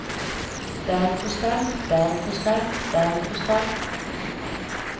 bergkrystall bergkrystall bergkrystall